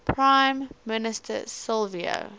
prime minister silvio